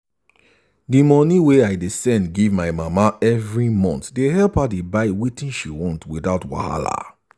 the money wey i dey send give my mama every month dey help her buy wetin she want without wahala.